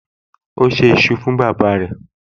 O ṣé iṣu fún bàbáa rẹ̀